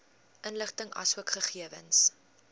inligting asook gegewens